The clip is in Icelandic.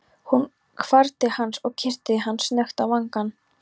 Hún hvarf til hans og kyssti hann snöggt á vangann.